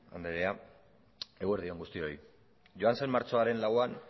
andrea eguerdi on guztioi joan zen martxoaren lauan